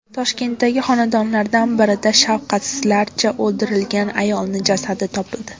Toshkentdagi xonadonlardan biridan shafqatsizlarcha o‘ldirilgan ayolning jasadi topildi.